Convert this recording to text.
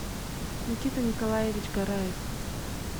никита николаевич гораев